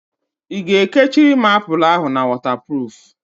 I ga-ekechiri m apụl ahụ na wọtapruf?